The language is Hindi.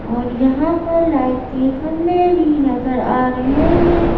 और यहां पर लाइट के खम्भे भी नज़र आ रहे हैं।